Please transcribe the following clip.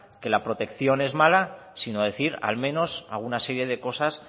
que la protección es mala sino decir al menos alguna serie de cosas